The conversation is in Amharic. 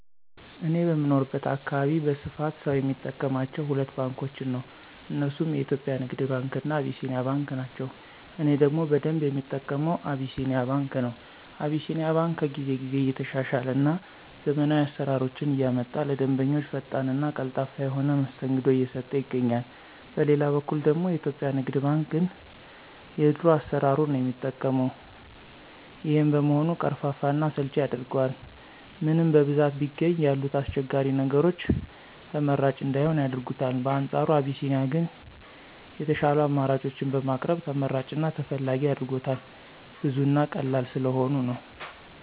እኔ በምኖርበት አካባቢ በስፋት ሰው የሚጠቀማቸው ሁለት ባንኮችን ነው። እነርሱም የኢትዮጵያ ንግድ ባንክ እና አቢሲኒያ ባንክ ናቸው። እኔ ደግሞ በደንብ የምጠቀመው አቢሲኒያ ባንክ ነው። አቢሲኒያ ባንክ ከጊዜ ጊዜ እየተሻሻለ እና ዘመናዊ አሰራሮችን እያመጣ ለደንበኞቹ ፈጣን እና ቀልጣፋ የሆነ መስተንግዶ እየሰጠ ይገኛል። በሌላ በኩል ደግሞ የኢትዮጵያ ንግድ ባንክ ግን የድሮ አሰራሩን ነው የሚጠቀው። ይሄም በመሆኑ ቀርፋፋ እና አሰልቺ ያደርገዋል። ምንም በብዛት ቢገኝ ያሉት አስቸጋሪ ነገሮች ተመራጭ እንዳይሆን ያደርጉታል። በአንፃሩ አቢሲኒያ ግን የሻሉ አማራጮችን በማቅረብ ተመራጭ እና ተፈላጊ አድርጎታል። ብዙ እና ቀላል ስለሆኑ ነው።